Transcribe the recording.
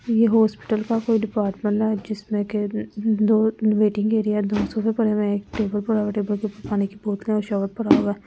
ये हॉस्पिटल का कोई डिपार्टमेंट है जिसमें के दो वेटिंग एरिया दो सफे परे में एक टेबल पर होगा टेबल के ऊपर पानी की बोल पर होगा --